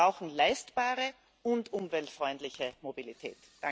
Wir brauchen leistbare und umweltfreundliche Mobilität.